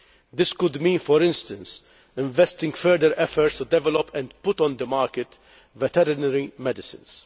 This could mean, for instance, investing further efforts in developing and putting on the market veterinary medicines.